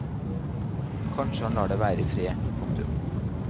Kanskje han lar deg være i fred. punktum